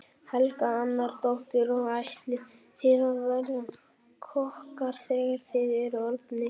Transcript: Helga Arnardóttir: Og ætlið þið að verða kokkar þegar þið eruð orðnir stórir?